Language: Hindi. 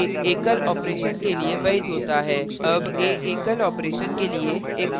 अब a एकल operation के लिए एक float variable की तरह कार्य करेगा